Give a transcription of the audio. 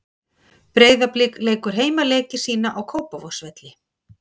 Breiðablik leikur heimaleiki sína á Kópavogsvelli.